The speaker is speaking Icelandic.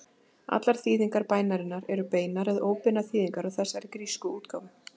Allar þýðingar bænarinnar eru beinar eða óbeinar þýðingar á þessari grísku útgáfu.